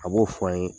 A b'o fɔ an ye